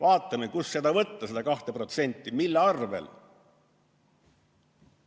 Vaatame, kust seda võtta, seda 2%, mille arvel!